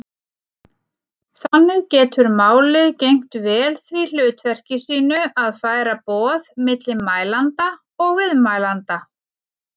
Þannig getur málið gegnt vel því hlutverki sínu að færa boð milli mælanda og viðmælanda.